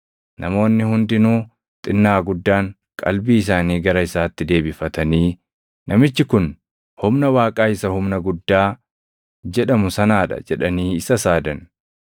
Namoonni hundinuu xinnaa guddaan qalbii isaanii gara isaatti deebifatanii, “Namichi kun humna Waaqaa isa ‘humna guddaa’ jedhamu sanaa dha” jedhanii isa saadan.